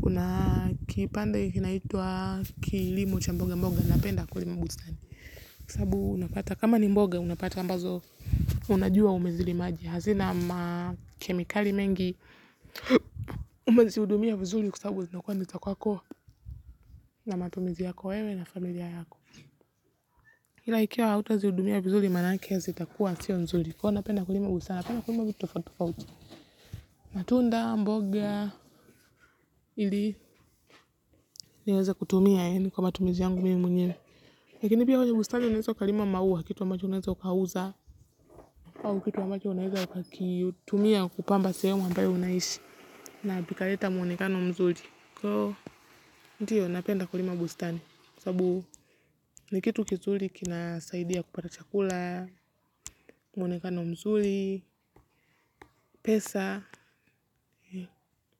Kuna kipande kinaitwa kilimo cha mboga mboga napenda kulima bustani. Kama ni mboga unapata ambazo unajua umezili maji hazina ma kemikali mengi. Umezihudumia vizuri kwa sabubu zinakuwa ni za kwako na matumizi yako wewe na familia yako ila ikiwa hautazihudumia vizuri maana zitakua sio nzuri kwani napenda kulima hasa vitu tofauti tofauti matunda mboga ili naweza kutumia yani kwa matumizi yangu mimi mwenye. Lakini pia kwenye bustani unaweza ukalima maua kitu ambacho unaweza ukauza au kitu ambacho unaweza kakitumia kupamba sehemu ambayo unaishi. Na pika leta mwonekano mzuli. Kwao, ndio napenda kulima bustani. Sababu ni kitu kizuli kinasaidia kupata chakula, mwonekano mzuli, pesa.